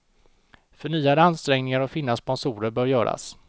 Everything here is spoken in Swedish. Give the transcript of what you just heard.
Förnyade ansträngningar att finna sponsorer bör göras.